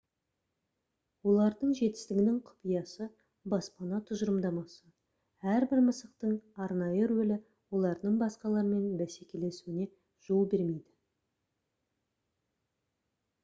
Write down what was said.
олардың жетістігінің құпиясы баспана тұжырымдамасы әрбір мысықтың арнайы рөлі олардың басқалармен бәсекелесуіне жол бермейді